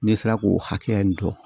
N'e sera k'o hakɛ in dɔn